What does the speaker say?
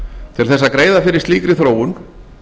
til þess að greiða fyrir slíkri þróun